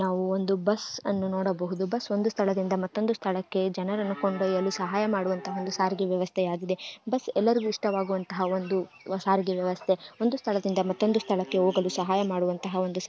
ನಾವು ಒಂದು ಬಸ್ಸ ಅನ್ನು ನೋಡಬಹುದು ಬಸ್ಸ ಒಂದು ಸ್ಥಳದಿಂದ ಮತ್ತೊಂದು ಸ್ಥಳಕ್ಕೆ ಜನರನ್ನು ಕೊಂಡ್ಯೊಯಲು ಸಹಾಯ ಮಾಡುವಂತಹ ಒಂದು ಸಾರಿಗೆ ವ್ಯವಸ್ಥೆಯಾಗಿದೆ ಬಸ್ಸ ಎಲ್ಲರಿಗೂ ಇಷ್ಟವಾಗುವಂತಹ ಒಂದು ಸಾರಿಗೆ ವ್ಯವಸ್ಥೆ ಒಂದು ಸ್ಥಳದಿಂದ ಮತ್ತೊಂದು ಸ್ಥಳಕ್ಕೆ ಹೋಗಲು ಸಹಾಯ ಮಾಡುವಂತಹ ಒಂದು --